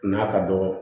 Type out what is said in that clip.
N'a ka dɔgɔ